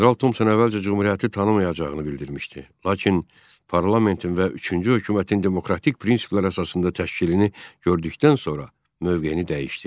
General Tomson əvvəlcə Cümhuriyyəti tanımayacağını bildirmişdi, lakin parlamentin və üçüncü hökumətin demokratik prinsiplər əsasında təşkilini gördükdən sonra mövqeyini dəyişdi.